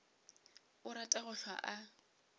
a rata go hlwa a